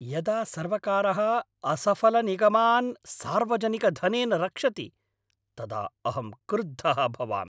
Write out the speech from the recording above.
यदा सर्वकारः असफलनिगमान् सार्वजनिकधनेन रक्षति तदा अहं क्रुद्धः भवामि